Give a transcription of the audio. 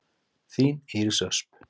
Þín, Íris Ösp.